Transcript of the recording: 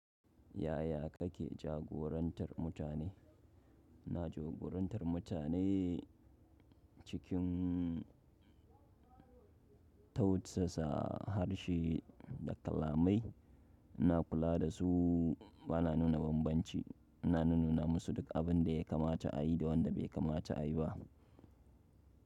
Yaya kake jagorantar mutane? Na jagorantar mutane cikin tautsasa, harshe da kalamai. Ina kula da su, ba na nuna bambanci. Ina nuna musu duk abin da ya kamata a yi da wanda bai kamata a yi ba.